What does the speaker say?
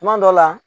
Tuma dɔ la